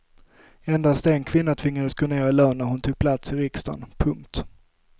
Endast en kvinna tvingades gå ner i lön när hon tog plats i riksdagen. punkt